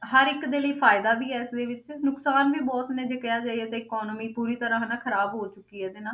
ਹਰ ਇੱਕ ਦੇ ਲਈ ਫ਼ਾਇਦਾ ਵੀ ਹੈ ਇਸਦੇ ਵਿੱਚ ਨੁਕਸਾਨ ਵੀ ਬਹੁਤ ਨੇ ਜੇ ਕਿਹਾ ਜਾਈਏ ਤੇ economy ਪੂਰੀ ਤਰ੍ਹਾਂ ਹਨਾ ਖ਼ਰਾਬ ਹੋ ਚੁੱਕੀ ਹੈ ਇਹਦੇ ਨਾਲ,